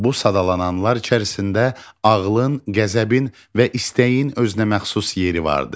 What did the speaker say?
Bu sadalananlar içərisində ağlın, qəzəbin və istəyin özünəməxsus yeri vardır.